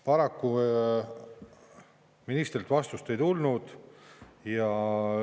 Paraku ministrilt vastust ei tulnud.